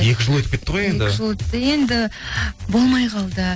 екі жыл өтіп кетті ғой енді екі жыл өтті енді болмай қалды